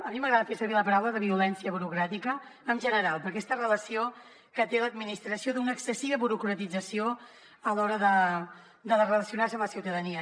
a mi m’agrada fer servir la paraula violència burocràtica en general per aquesta relació que té l’administració d’una excessiva burocratització a l’hora de relacionar se amb la ciutadania